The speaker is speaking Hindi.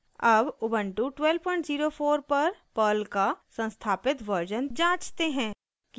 अब उबन्टु 1204 पर पर्ल का संस्थापित वर्जन जाँचते हैं